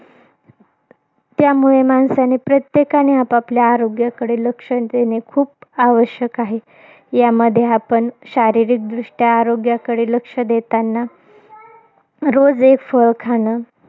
त्यामुळे, माणसाने, प्रत्येकाने आपापल्या आरोग्याकडे लक्ष देणे, खूप आवश्यक आहे. यामध्ये आपण शारीरिकदृष्ट्या आरोग्याकडे लक्ष देतांना, रोज एक फळ खाणं.